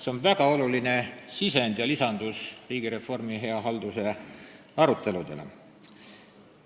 See on väga oluline sisend riigireformi ja hea halduse aruteludesse ja lisandus sellele.